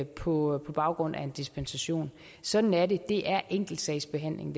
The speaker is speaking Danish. på baggrund af en dispensation sådan er det det her er enkeltsagsbehandling